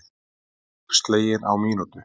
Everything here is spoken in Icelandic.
Íbúð slegin á mínútu